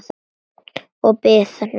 Og biðina.